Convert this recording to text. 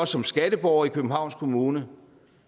som skatteborger i københavns kommune